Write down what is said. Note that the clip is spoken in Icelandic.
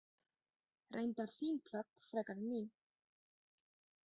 Reyndar þín plögg frekar en mín.